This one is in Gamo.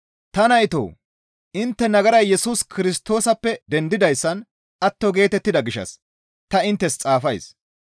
Ta naytoo! Intte nagaray Yesus Kirstoosappe dendidayssan atto geetettida gishshas ta inttes xaafays.